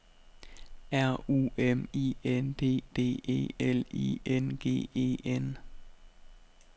R U M I N D D E L I N G E N